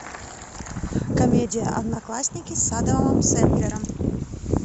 комедия одноклассники с адамом сэндлером